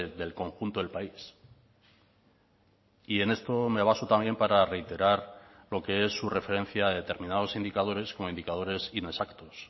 del conjunto del país y en esto me baso también para reiterar lo que es su referencia a determinados indicadores con indicadores inexactos